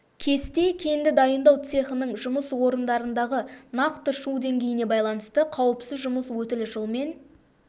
кесте кенді дайындау цехының жұмыс орындарындағы нақты шу деңгейіне байланысты қауіпсіз жұмыс өтілі жылмен